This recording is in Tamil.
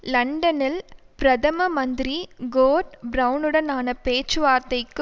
லண்டனில் பிரதம மந்திரி கோர்டன் பிரெளனுடனான பேச்சுவார்த்தைக்கு